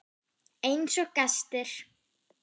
Einsog gestir.